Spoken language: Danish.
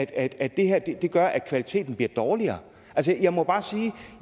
at at det her gør at kvaliteten bliver dårligere jeg må bare sige at